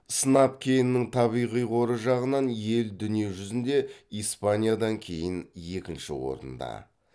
сынап кенінің табиғи қоры жағынан ел дүние жүзінде испаниядан кейін екінші орында